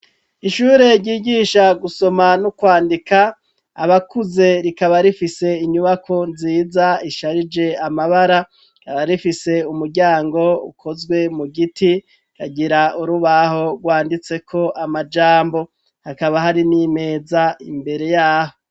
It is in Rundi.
Ishure ryigisha gusoma no kwandika abakuze rikaba rifise inyubako nziza isharije amabara rikaba rifise umuryango ukozwe mu giti ragira urubaho rwanditse ko amajambo hakaba hari n'imeza imbere yaho .